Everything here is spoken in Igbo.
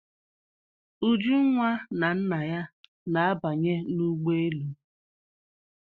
Ujunwa na nna ya na-abanye n'ụgbọelu.